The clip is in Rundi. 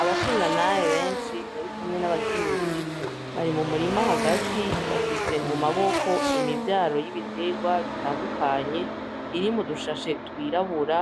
Abashingantahe benshi birikumwe n'abakenyezi bari mu murima hagati, bafise mu maboko imivyaro y'ibiterawa bitandukanye iri mutumwanya twirabura